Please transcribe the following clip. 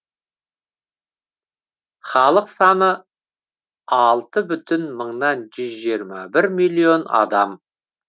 халық саны алты бүтін мыңнан жүз жиырма бір миллион адам